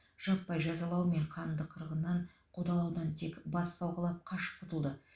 жаппай жазалау мен қанды қырғыннан қудалаудан тек бас сауғалап қашып құтылды